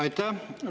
Aitäh!